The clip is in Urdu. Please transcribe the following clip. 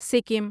سکم